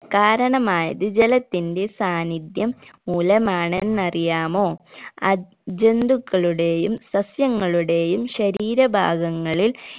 കാരണമായത് ജലത്തിന്റെ സാന്നിദ്ധ്യം മൂലമാണെന്ന് അറിയാമോ അത് ജന്തുക്കളുടെയും സസ്യങ്ങളുടെയും ശരീരഭാഗങ്ങളിൽ